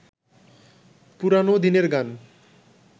পুরানো দিনের গান